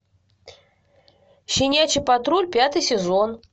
щенячий патруль пятый сезон